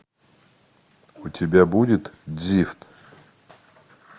у тебя будет дзифт